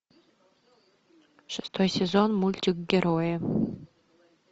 шестой сезон мультик герои